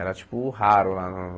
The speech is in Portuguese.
Era tipo, raro lá no...